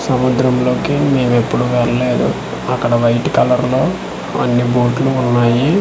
సముద్రంలోకి మెమెప్పుడు వెళ్లలేదు అక్కడ వైట్ కలర్ లో అన్నీ బోట్లు వున్నాయి .